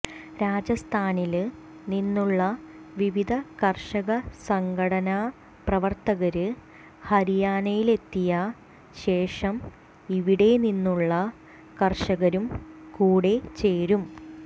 രാജസ്ഥാനില് നിന്നുള്ള വിവിധ കര്ഷക സംഘടനാ പ്രവര്ത്തകര് ഹരിയാനയിലെത്തിയ ശേഷം ഇവിടെ നിന്നുള്ള കര്ഷകരും കൂടെ ചേരും